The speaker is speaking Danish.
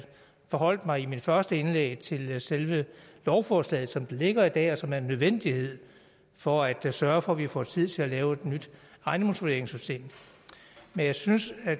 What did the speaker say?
forholdt mig i mit første indlæg til selve lovforslaget som det ligger i dag og som er en nødvendighed for at sørge for at vi får tid til at lave et nyt ejendomsvurderingssystem men jeg synes at